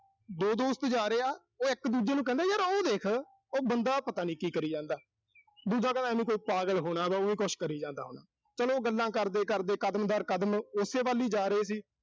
ਦੋ ਦੋਸਤ ਜਾ ਰਹੇ ਆ, ਉਹ ਇੱਕ ਦੂਜੇ ਨੂੰ ਕਹਿੰਦੇ ਆ, ਵੀ ਯਰ ਉਹ ਦੇਖ, ਉਹ ਬੰਦਾ ਪਤਾ ਨੀਂ ਕੀ ਕਰੀ ਜਾਂਦਾ। ਦੂਜਾ ਕਹਿੰਦਾ ਐਵੇਂ ਕੋਈ ਪਾਗਲ ਹੋਣਾ, ਐਵੀਂ ਕੁਸ਼ ਕਰੀ ਜਾਂਦਾ ਹੋਣਾ। ਚਲੋ ਉਹ ਗੱਲਾਂ ਕਰਦੇ-ਕਰਦੇ ਕਦਮ-ਦਰ-ਕਦਮ ਓਸੇ ਵੱਲ ਹੀ ਜਾ ਰਹੇ ਸੀ।